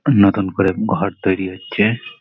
নতুন করে ঘর তৈরি হচ্ছে-এ।